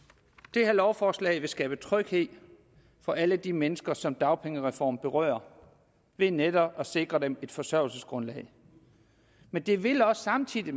det her lovforslag vil skabe tryghed for alle de mennesker som dagpengereformen berører ved netop at sikre dem et forsørgelsesgrundlag men det vil samtidig